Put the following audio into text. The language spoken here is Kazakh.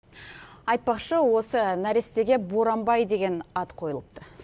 айтпақшы осы нәрестеге боранбай деген ат қойылыпты